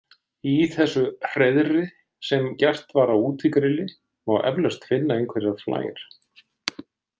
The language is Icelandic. Í þessu hreiðri sem gert var á útigrilli má eflaust finna einhverjar flær.